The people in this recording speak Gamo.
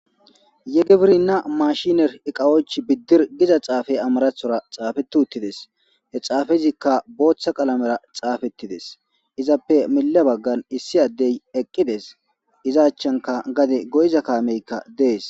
Ye gibirna iqawoch bidir gizza xafey amarathora xafeti uttidess. He xafeyka boththa qalamera xafedides the zappe mille bagara issi Adey eqiddes. Iza ochchankka gadde goyza kamekka Des.